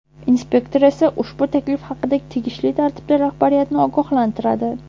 Inspektor esa ushbu taklif haqida tegishli tartibda rahbariyatni ogohlantiradi.